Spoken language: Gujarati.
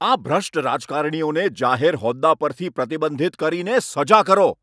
આ ભ્રષ્ટ રાજકારણીઓને જાહેર હોદ્દા પરથી પ્રતિબંધિત કરીને સજા કરો.